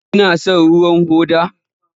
Kina son ruwan hoda?